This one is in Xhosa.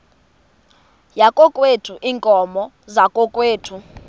yakokwethu iinkomo zakokwethu